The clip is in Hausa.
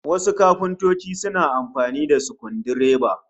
Wasu kafintocin suna amfani da sukudireba